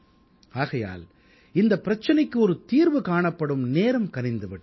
ஆகையால் இந்தப் பிரச்சனைக்கு ஒரு தீர்வு காணப்பட நேரம் கனிந்து விட்டது